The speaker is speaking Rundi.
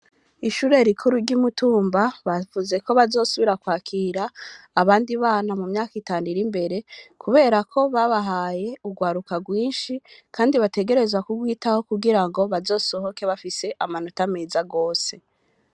Ishure rikuru ry'i Mutumba bavuze ko bazosubira kwakira abandi bana mu myaka itanu iri imbere, kubera ko babahaye urwaruka rwinshi, kandi bategerezwa kurwitaho kugirango bazosohoke bafise amanota meza gose.